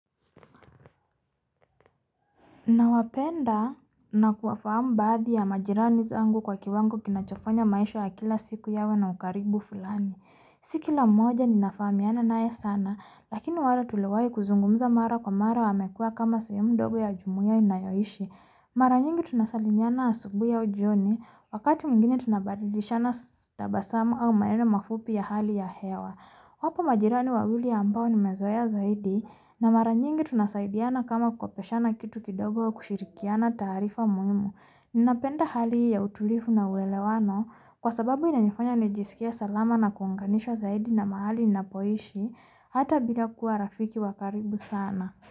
Nawapenda na kuwafahamu baadhi ya majirani zangu kwa kiwango kinachofanya maisha ya kila siku yawe na ukaribu fulani. Si kila mmoja ninafahamiana naye sana, lakini wale tulowai kuzungumza mara kwa mara wamekuwa kama sehemu ndogo ya jumuia ninayoishi. Mara nyingi tunasalimiana asubuhi au jioni, wakati mwingine tunabadilishana tabasamu au maneno mafupi ya hali ya hewa. Wapo majirani wawili ambao nimezoea zaidi, na mara nyingi tunasaidiana kama kukopeshana kitu kidogo ya kushirikiana taarifa muhimu. Ninapenda hali hii ya utulivu na uelewano, kwa sababu inanifanya nijisikie salama na kuunganishwa zaidi na mahali napoishi, hata bila kuwa rafiki wa karibu sana.